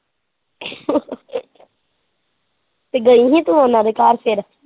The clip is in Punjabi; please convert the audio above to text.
ਤੇ ਗਈ ਸੀ ਉਨਾਂ ਦੇ ਘਰ ਫਿਰ।